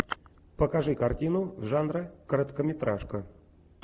покажи картину жанра короткометражка